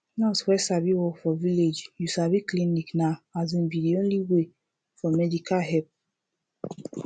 nurse wey sabi work for village you sabi clinic na asin be de only way for medical help